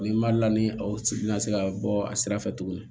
Ni mali la ni aw si tɛna se ka bɔ a sira fɛ tuguni